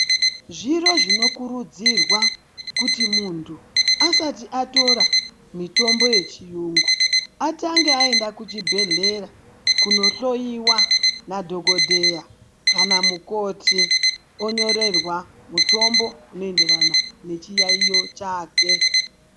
Zviro zvinokurudzirwa kuti muntu asati atora mitombo yechiyungu atange aenda kuchibhehlera kuno hloiwa nadhokodheya kana mukoti onyorerwa mutombo unoenderana nechiyaiyo chake.